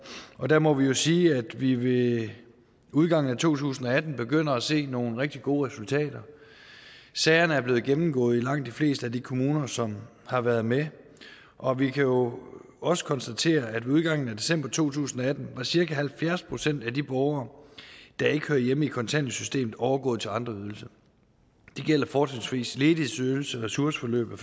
og der må vi jo sige at vi ved udgangen af to tusind og atten begynder at se nogle rigtig gode resultater sagerne er blevet gennemgået i langt de fleste af de kommuner som har været med og vi kan jo også konstatere at ved udgangen af december to tusind og atten var cirka halvfjerds procent af de borgere der ikke hører hjemme i kontanthjælpssystemet overgået til andre ydelser det gælder fortrinsvis ledighedsydelse ressourceforløb og